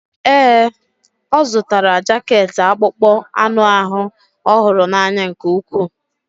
Ee, ọ zụtara jaket akpụkpọ anụ ahụ ọ hụrụ n'anya nke ukwuu.